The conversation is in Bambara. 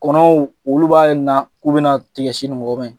Kɔnɔw olu b'a na k'u bɛna tiga sin ni wɔgɔbɛ.